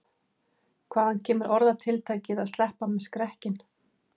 Hvaðan kemur orðatiltækið að sleppa með skrekkinn?